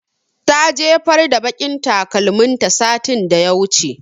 Ta jefar da baƙin takalmin ta satin da ya wuce